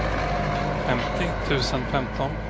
femtio tusen femton